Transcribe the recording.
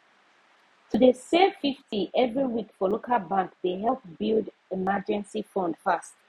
to dey save 50 every week for local bank dey help build emergency fund fast